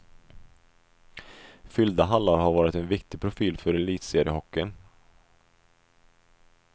Fyllda hallar har varit en viktig profil för elitseriehockeyn.